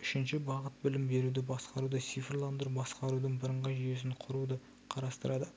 үшінші бағыт білім беруді басқаруды цифрландыру басқарудың бірыңғай жүйесін құруды қарастырады